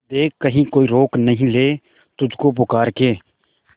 देख कहीं कोई रोक नहीं ले तुझको पुकार के